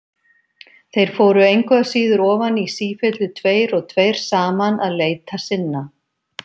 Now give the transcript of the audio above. Þeir fóru engu að síður ofan í sífellu tveir og tveir saman að leita sinna.